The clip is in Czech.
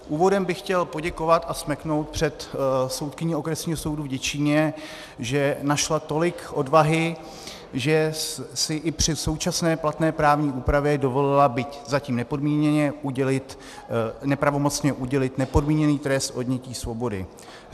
Úvodem bych chtěl poděkovat a smeknout před soudkyní okresního soudu v Děčíně, že našla tolik odvahy, že si i při současné platné právní úpravě dovolila, byť zatím nepravomocně, udělit nepodmíněný trest odnětí svobody.